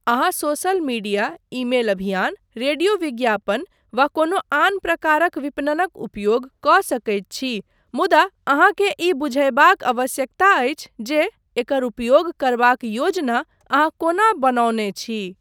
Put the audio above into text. अहाँ social media, email अभियान, radio विज्ञापन वा कोनो आन प्रकारक विपणनक उपयोग कऽ सकैत छी मुदा अहाँकेँ ई बुझयबाक आवश्यकता अछि जे एकर उपयोग करबाक योजना अहाँ कोना बनौने छी।